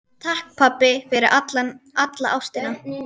Takk, pabbi, fyrir alla ástina.